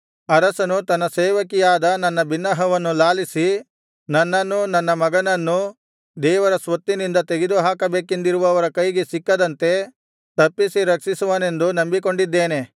ಅರಸನು ತನ್ನ ಸೇವಕಿಯಾದ ನನ್ನ ಬಿನ್ನಹವನ್ನು ಲಾಲಿಸಿ ನನ್ನನ್ನೂ ನನ್ನ ಮಗನನ್ನೂ ದೇವರ ಸ್ವತ್ತಿನಿಂದ ತೆಗೆದುಹಾಕಬೇಕೆಂದಿರುವವರ ಕೈಗೆ ಸಿಕ್ಕದಂತೆ ತಪ್ಪಿಸಿ ರಕ್ಷಿಸುವನೆಂದು ನಂಬಿಕೊಂಡಿದ್ದೇನೆ